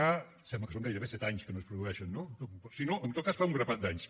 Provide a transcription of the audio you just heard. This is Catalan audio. em sembla que són gairebé set anys que no es produeixen no si no en tot cas fa un grapat d’anys